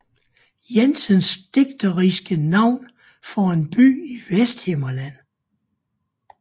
Jensens digteriske navn for en by i Vesthimmerland